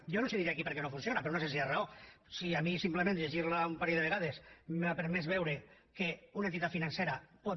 jo no els diré aquí per què no funciona per una senzilla raó si a mi simplement llegir la un parell de vegades m’ha permès veure que una entitat financera pot